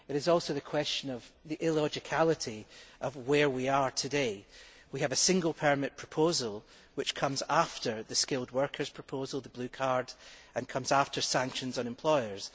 There is also the question of the illogicality of where we are today. We have a single permit proposal which comes after the skilled workers proposal, the blue card, and comes after sanctions on employers.